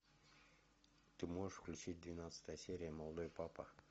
ты можешь включить двенадцатая серия молодой папа